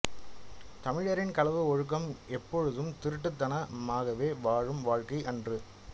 தமிழரின் களவு ஒழுக்கம் எப்போதும் திருட்டுத்தனமாகவே வாழும் வாழ்க்கை அன்று